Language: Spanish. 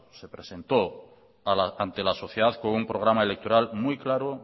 se presentó ante la sociedad con un programa electoral muy claro